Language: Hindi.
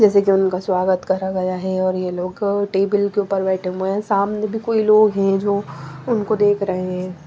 जैसे कि उनका स्वागत करा गया है और ये लोग टेबल के ऊपर बैठे हुए हैं सामने भी कोई लोग हैं जो उनको देख रहे हैं।